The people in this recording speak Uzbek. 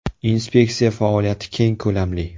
Inspeksiya faoliyati keng ko‘lamli.